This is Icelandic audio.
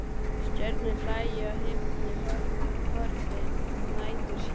Stjörnur hlæja á himni, horfin næturský.